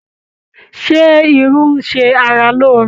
Ṣé irú ń ṣe ara lóore?